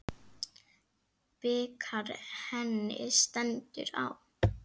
Bikar henni stendur á.